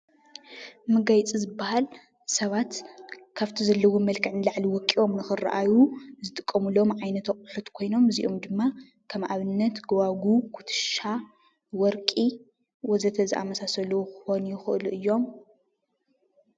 መጋየፂ ዝበሃል ሰባት ካብቲ ዘለዎም መልክዕ ንላዕሊ ወቂቦም ንኽርአዩ ዝጥቀሙሎም ዓይነት ኣቑሑ ኮይኖም እዚኦም ድማ ከም ኣብነት ጐባጉብ፣ ኩትሻ፣ ወርቂ ወዘተ ዝኣምሳሰሉ ክኾኑ ይኽእሉ እዮም፡፡